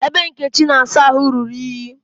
Ebe Nkechi na-asa ahụ ruru iyi